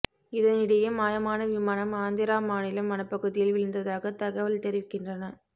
இதனிடையே மாயமான விமானம் ஆந்திரா மாநில வனப்பகுதியில் விழுந்ததாக தகவல் தெரிவிக்கின்றன